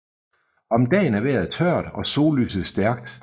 Om dagen er vejret tørt og sollyset stærkt